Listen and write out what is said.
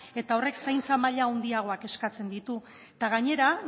eta horrek zaintza maila handiagoak eskatzen ditu eta gainera